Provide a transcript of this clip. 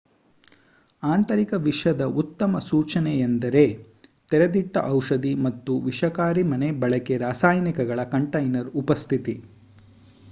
ಆಂತರಿಕ ವಿಷದ ಉತ್ತಮ ಸೂಚನೆಯೆಂದರೆ ತೆರೆದಿಟ್ಟ ಔಷಧಿ ಅಥವಾ ವಿಷಕಾರಿ ಮನೆ ಬಳಕೆ ರಾಸಾಯನಿಕಗಳ ಕಂಟೈನರ್ ಉಪಸ್ಥಿತಿ